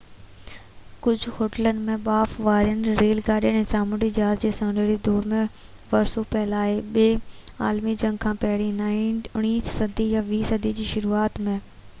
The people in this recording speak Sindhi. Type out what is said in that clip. ڪجهہ هوٽلن ۾ ٻاڦ وارين ريل گاڏين ۽ سامونڊي جهاز جي سونهري دور جو ورثو پيل آهي ٻي عالمي جنگ کان پهرين 19 صدي يا 20 صدي جي شروعات ۾